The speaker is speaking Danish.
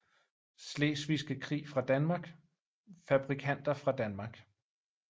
Slesvigske Krig fra Danmark Fabrikanter fra Danmark